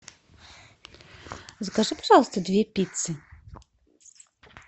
закажи пожалуйста две пиццы